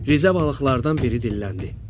Rizə balıqlardan biri dilləndi: